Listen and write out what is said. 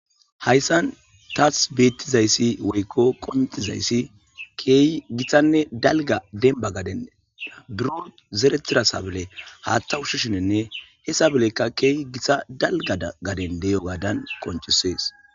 Hayssan taas beettizayssi woykko qonxizayssi keeyi githanne dalga denba gadenea buro zeretirasabele haatta ushishinenne he sabelekka keeyi githa dalga gaden deyo gaadan qoncisees.